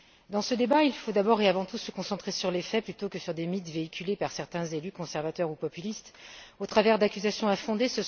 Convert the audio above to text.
Dans ce débat, il faut d'abord et avant tout se concentrer sur les faits plutôt que sur des mythes véhiculés par certains élus conservateurs ou populistes au travers d'accusations infondées.